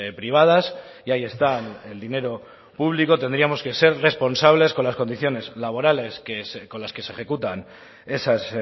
privadas y ahí están el dinero público tendríamos que ser responsables con las condiciones laborales con las que se ejecutan esas